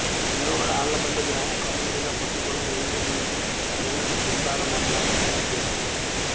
లోగడ అళ్లపల్లి గ్రామం ఖమ్మం జిల్లాకొత్తగూడెం రెవిన్యూడివిజను పరిధిలోని గుండాల మండలానికి చెందిన గ్రామం